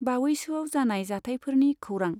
बावैसोआव जानाय जाथायफोरनि खौरां।